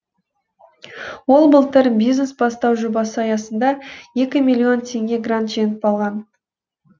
ол былтыр бизнес бастау жобасы аясында екі миллион теңге грант жеңіп алған